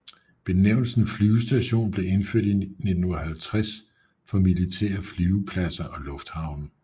Benævnelsen flyvestation blev indført i 1950 for militære flyvepladser og lufthavne